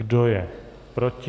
Kdo je proti?